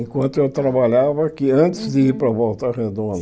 Enquanto eu trabalhava aqui, antes de ir para Volta Redonda.